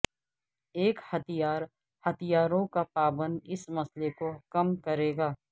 ایک ہتھیار ہتھیاروں کا پابند اس مسئلے کو کم کرے گا